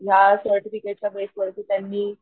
ह्या सर्टिफिकेट च्या बेस वरती त्यांनी,